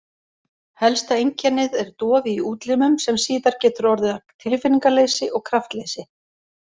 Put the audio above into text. Helsta einkennið er dofi í útlimum sem síðar getur orðið að tilfinningaleysi og kraftleysi.